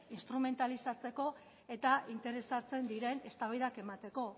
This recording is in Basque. instrumentalizatzeko eta interesatzen diren eztabaidak emateko